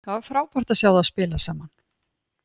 Það var frábært að sjá þá spila saman.